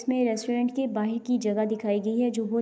اسمے ریسٹورینٹ کے بہار کی جگہ دکھائی گی ہے۔ جو بھوت -